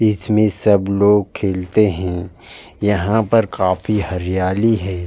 इसमें सब लोग खेलते हैं। यहां पर काफी हरियाली है।